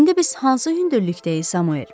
İndi biz hansı hündürlükdəyik, Samuel?